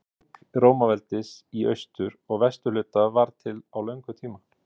Skipting Rómaveldis í austur- og vesturhluta varð til á löngum tíma.